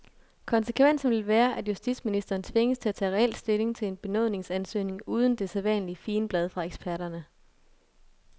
Konsekvensen vil være, at justitsministeren tvinges til at tage reel stilling til en benådningsansøgning uden det sædvanlige figenblad fra eksperterne.